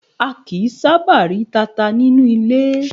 A kìí sábà rí tata nínú ilé.